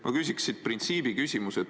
Ma küsin printsiibiküsimuse.